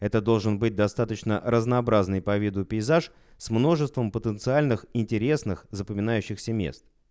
это должен быть достаточно разнообразный по виду пейзаж с множеством потенциальных интересных запоминающихся мест